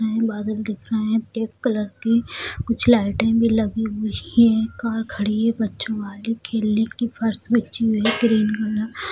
बादल दिख रहे हैं ब्लैक कलर की कुछ लाइटें भी लगी हुई हैं कार खड़ी है बच्चो वाली खेलने की फर्श बिछी हुई है ग्रीन --